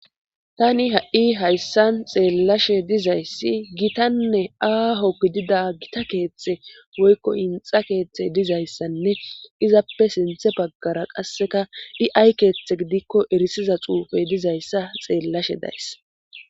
Tani ha7i hayssan xeellashe dizayssi gitanne aaho gidida gita keeththe woykko inxa keeththe dizayssanne izappe sinthe baggara qasseka dhi7ay keeththe gidikko erisiza xuufey dizayssa xeellashe days